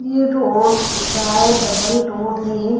ये रोड दिख रहा है। डबल रोड है।